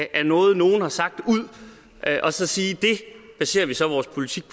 af noget nogen har sagt ud og så sige det baserer vi så vores politik